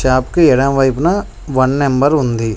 Tap కి ఎడమవైపున one number ఉంది.